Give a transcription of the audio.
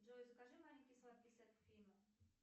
джой закажи маленький сладкий сет к фильму